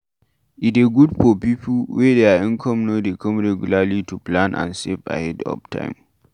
E dey good for pipo wey their income no dey come regularly to plan and save ahead of time